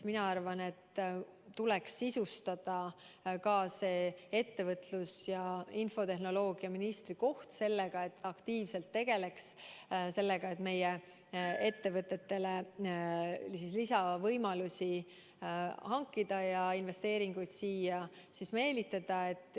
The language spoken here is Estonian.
Mina arvan, et tuleks sisustada ka ettevõtlus‑ ja infotehnoloogiaministri töö nii, et ta aktiivselt tegeleks sellega, et meie ettevõtetele lisavõimalusi hankida ja investeeringuid siia meelitada.